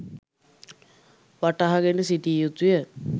වටහා ගෙන සිටිය යුතුය.